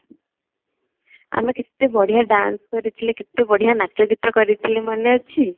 ଆମେ କେତେ ବଢ଼ିଆ dance କରିଥିଲେ କେତେ ବଢ଼ିଆ ନାଚ ଗୀତ କରିଥିଲେ ମନେ ଅଛି